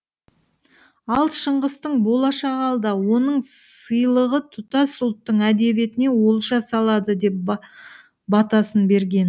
ал шыңғыстың болашағы алда оның сыйлығы тұтас ұлттың әдебиетіне олжа салады деп батасын берген